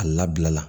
A labila la